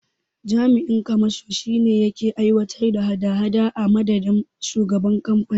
Jami'in kamashon shine yake aiwatar da hada hada a madadin shugaban kamfanin.